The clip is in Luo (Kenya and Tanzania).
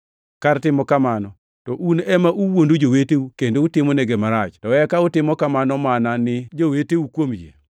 Kar timo kamano, to un ema uwuondo joweteu kendo utimonegi marach, to eka utimo kamano mana ni joweteu kuom yie.